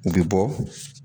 U be bɔ